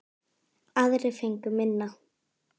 Aðrir fengu minna.